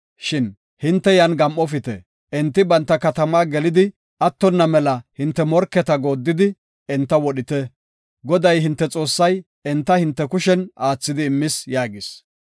Shin hinte yan gam7ofite; enti banta katamaa gelidi attona mela hinte morketa gooddidi enta wodhite. Goday hinte Xoossay enta hinte kushen aathidi immis” yaagis.